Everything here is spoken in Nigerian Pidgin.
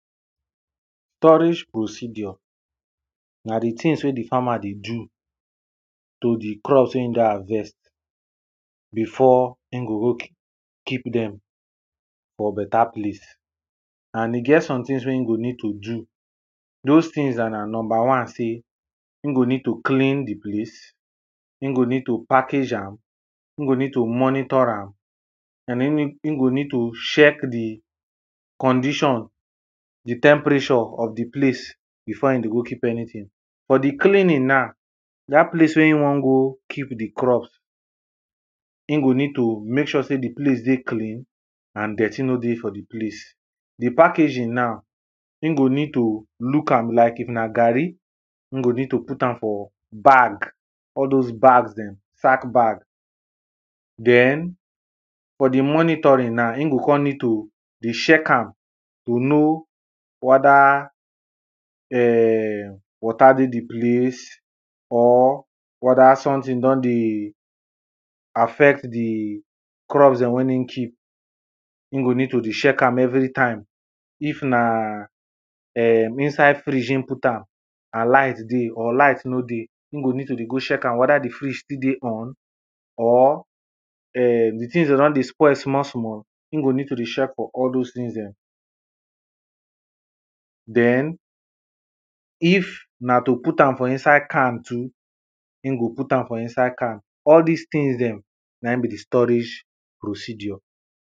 Storage procedure na di things wey di farmer dey do to di crops wey e don harvest before e go go keep dem for better place and e get somethings wey im go need to do dose things na, number one say e go need to clean di place, e go need to package am, e go need to monitor am and e go need to check di condition, di temperature of di place before e dey go keep anything. For di cleaning na, dat place wey e wan go keep di crop, e go need to make sure say di place and dirty no dey for di place. Di packaging now, e go need to look am like if na garri e go need to put am for bag, all dose bag dem, sack bag. Den for di monitoring na, him go come need to dey sheck am to know whether um water dey di place or whether something don dey affect di crops dem wen e keep. E go need to dey sheck am everytime if na um inside fridge Im put am and light dey or light no dey im go need to dey go check am whether di fridge still dey on or um di things dey don dey spoil small small e go dey check for all dose things dem. Den, if na to put am for inside can too, im go put am for inside can. All dis things dem na e be di storage procedure.